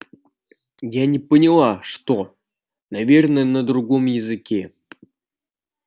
я не поняла что наверное на другом языке